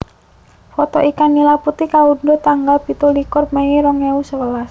Foto ikan nila putih kaundhuh tanggal pitulikur mei rong ewu sewelas